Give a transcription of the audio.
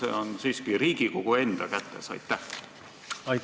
Selle info saab kätte niiviisi, et Riigikogu ei võta menetleda eelarvet, mida lugeda ei ole võimalik.